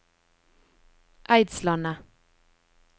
Eidslandet